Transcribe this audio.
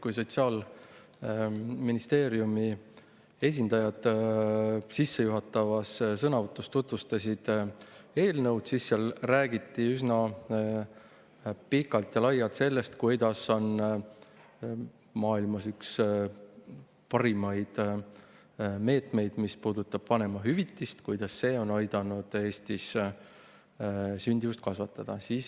Kui Sotsiaalministeeriumi esindajad oma sissejuhatavas sõnavõtus eelnõu tutvustasid, siis räägiti üsna pikalt ja laialt sellest, kuidas vanemahüvitis on maailmas üks parimaid meetmeid ja kuidas see on aidanud Eestis sündimust kasvatada.